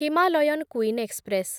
Himalayan Queen express